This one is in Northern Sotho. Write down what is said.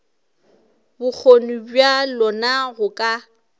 bokgoni bja lona go ka